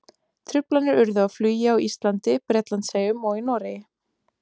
Truflanir urðu á flugi á Íslandi, Bretlandseyjum og í Noregi.